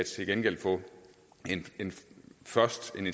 til gengæld først kan